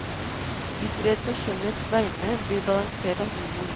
Bitterhet på kjønnets vegne blir balansert av humor.